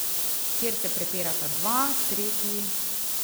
Kjer se prepirata dva, tretji ...